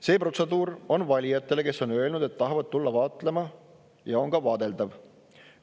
See protseduur on valijatele, kes on öelnud, et nad tahavad tulla vaatlema, vaadeldav.